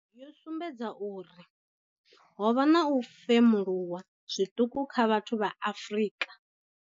Yo sumbedza uri ho vha na u femuluwa zwiṱuku kha vhathu vha Afrika.